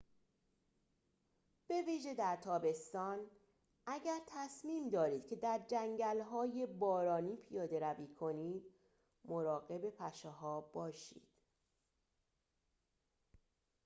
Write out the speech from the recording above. به ویژه در تابستان اگر تصمیم دارید که در جنگل‌های بارانی پیاده روی کنید مراقب پشه‌ها باشید